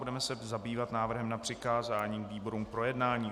Budeme se zabývat návrhem na přikázání výborům k projednání.